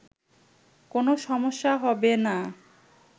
কোন সমস্যা হবে না